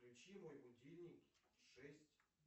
включи мой будильник в шесть